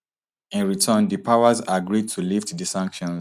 in return di powers agree to lift di sanctions